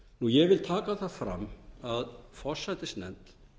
ég vil taka það fram að forsætisnefnd